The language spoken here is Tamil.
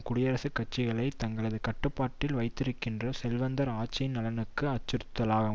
குடியரசுக் கட்சிகளை தங்களது கட்டுப்பாட்டில் வைத்திருக்கின்ற செல்வந்தர் ஆட்சியின் நலனுக்கு அச்சுறுத்தலாகும்